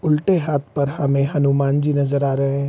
उल्टे हाथ पर हमे हनुमानजी नजर आ रहे है।